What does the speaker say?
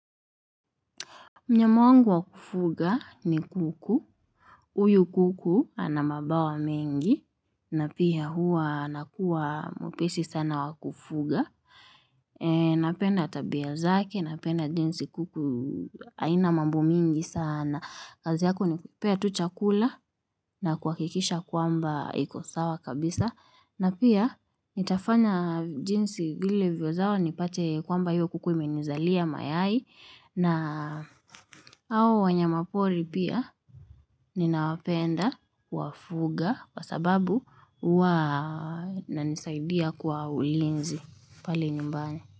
Mnyama wangu wa kufuga ni kuku, huyu kuku ana mabawa mengi, na pia huwa anakuwa mwepesi sana wa kufuga. Napenda tabia zake, napenda jinsi kuku haina mambo mingi sana. Kazi yako ni kupea tu chakula na kuhakikisha kwamba iko sawa kabisa. Na pia nitafanya jinsi vile viwezao nipate kwamba hiyo kuku imenizalia mayai na au wanyama pori pia ninawapenda kuwafuga kwa sababu huwa inanisaidia kwa ulinzi pale nyumbani.